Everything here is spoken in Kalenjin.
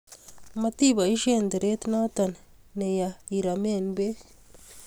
matiboisien teret noto kiya iromen beek